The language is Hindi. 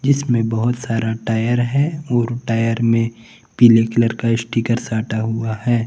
जिसमें बहुत सारा टायर है और टायर में पीले कलर का स्टीकर साटा हुआ है।